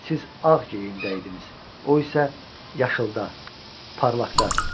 Siz ağ geyimdədiniz, o isə yaşılıda, parlaqda.